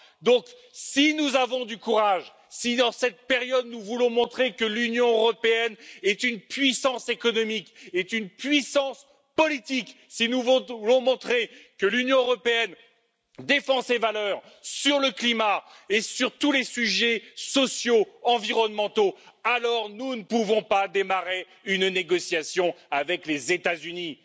Donc, si nous avons du courage, si, dans cette période, nous voulons montrer que l'Union européenne est une puissance économique, une puissance politique, si nous voulons montrer que l'Union européenne défend ses valeurs sur le climat et sur tous les sujets sociaux, environnementaux, nous ne pouvons pas amorcer de négociations avec les États Unis.